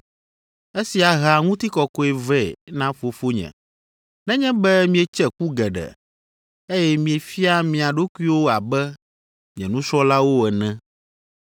Esia hea ŋutikɔkɔe vɛ na Fofonye, nenye be mietse ku geɖe, eye miefia mia ɖokuiwo abe nye nusrɔ̃lawo ene.